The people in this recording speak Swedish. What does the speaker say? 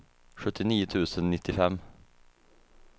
sjuttionio tusen nittiofem